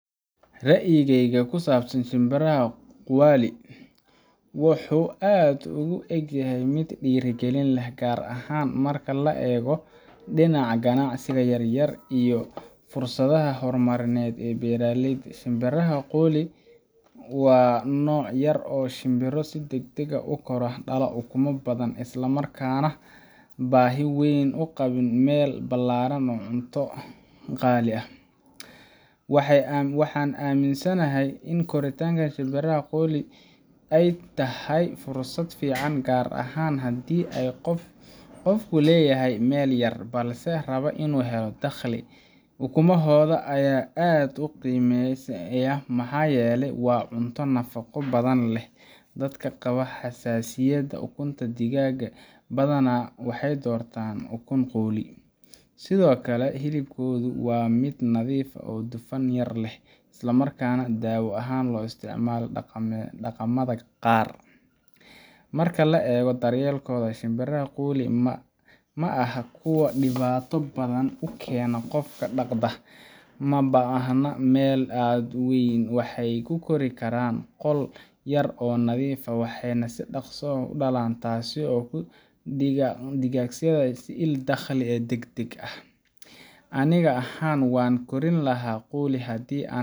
Ra'yigayga ku saabsan shimbiraha quail wuxuu aad ugu egyahay mid dhiirrigelin leh, gaar ahaan marka laga eego dhinaca ganacsiga yaryar iyo fursadaha horumarineed ee beeraleyda. Shimbiraha quli waa nooc yar oo ah shimbiro si degdeg ah u kora, dhala ukumo badan, isla markaana aan baahi weyn u qabin meel ballaaran ama cunto qaali ah. Waxaan aaminsanahay in korinta shimbiraha quli ay tahay fursad fiican gaar ahaan haddii qofku leeyahay meel yar, balse raba inuu helo dakhli. Ukumahooda ayaa aad loo qiimeeyaa maxaa yeelay waa cunto nafaqo badan leh, dadka qaba xasaasiyadda ukunta digaaga badana waxay doortaan ukun quli. Sidoo kale hilibkooda waa mid nadiif ah, dufan yar leh, islamarkaana daawo ahaan loo isticmaalo dhaqamada qaar. Marka la eego daryeelkooda, shimbiraha quli ma aha kuwo dhibaato badan u keena qofka dhaqda. Uma baahna meel aad u weyn, waxay ku kori karaan qol yar oo nadiif ah, waxayna si dhaqso leh u dhalaan, taasoo ka dhigaysa il dakhli degdeg ah. Aniga ahaan, waan kori lahaa quli haddii aan